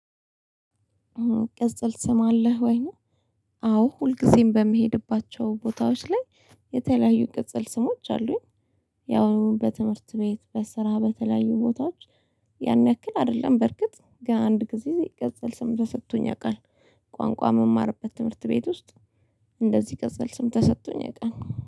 ቅጽል ስም አለህ ወይ ነው? አዎ ሁልጊዜም በመሄድባቸው ቦታዎች ላይ የተለያዩ ቅጽል ስሞች አሉኝ። ያው በትምህርት ቤት በስራ በተለያዩ ቦታዎች ያን ያክል አይደለም በርግጥ ገን አንድ ጊዜ ቅጽል ስም ተሰጥቶኝ ያውቃል። ቋንቋ የምማርበት ትምህርት ቤት ውስጥ። እንደዚህ ቀፅል ስም ተሰቶኝ የቃል